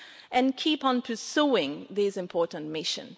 and to keep on pursuing this important mission.